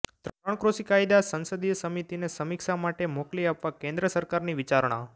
ત્રણ કૃષિ કાયદા સંસદીય સમિતિને સમીક્ષા માટે મોકલી આપવા કેન્દ્ર સરકારની વિચારણા